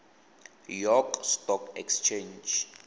york stock exchange